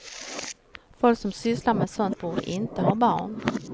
Folk som sysslar med sånt borde inte ha barn.